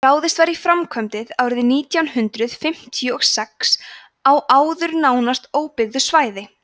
ráðist var í framkvæmdir árið nítján hundrað fimmtíu og sex á áður nánast óbyggðu svæði